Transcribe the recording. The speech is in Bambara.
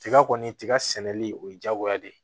Tiga kɔni tiga sɛnɛli o ye diyagoya de ye